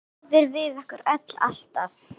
Góður við okkur öll, alltaf.